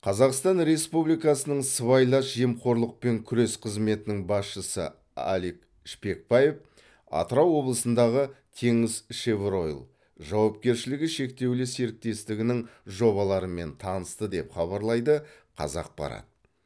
қазақстан республикасы сыбайлас жемқорлықпен күрес қызметінің басшысы алик шпекбаев атырау облысындағы теңізшевройл жауапкершілігі шектеулі серіктестігінің жобаларымен танысты деп хабарлайды қазақпарат